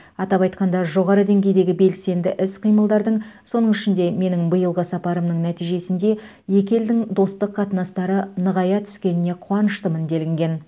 атап айтқанда жоғары деңгейдегі белсенді іс қимылдардың соның ішінде менің биылғы сапарымның нәтижесінде екі елдің достық қатынастары нығая түскеніне қуаныштымын делінген